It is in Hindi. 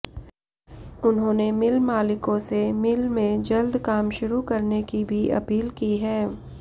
उन्होंने मिल मालिकों से मिल में जल्द काम शुरू करने की भी अपील की है